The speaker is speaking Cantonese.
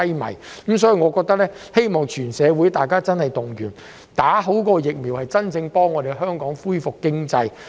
就此，我希望全社會動員接種疫苗，真正幫助香港恢復經濟。